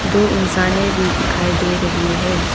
दो इंसाने भी दिखाई दे रही है।